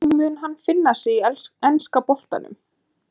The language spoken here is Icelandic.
Hvernig mun hann finna sig í enska boltanum?